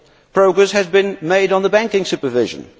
Progress has been made on banking supervision.